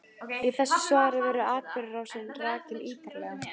Í þessu svari verður atburðarásin rakin ítarlega.